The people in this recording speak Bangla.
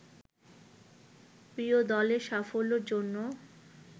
প্রিয় দলের সাফল্যের জন্য